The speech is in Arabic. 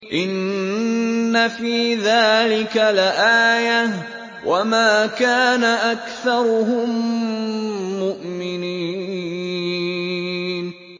إِنَّ فِي ذَٰلِكَ لَآيَةً ۖ وَمَا كَانَ أَكْثَرُهُم مُّؤْمِنِينَ